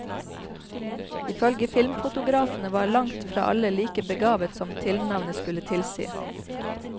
Ifølge filmfotografene var langt fra alle like begavet som tilnavnet skulle tilsi.